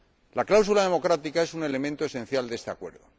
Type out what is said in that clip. La cláusula democrática es un elemento esencial de este Acuerdo.